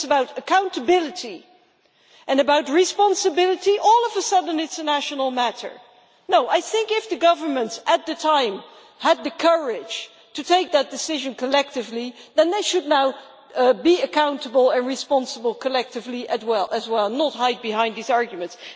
When it is about accountability and about responsibility, all of a sudden it is a national matter. No, I think that if the governments at the time had the courage to take that decision collectively, then they should now be accountable and responsible collectively as well, and not hide behind these arguments.